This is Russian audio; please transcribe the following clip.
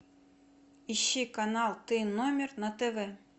ищи канал ты номер на тв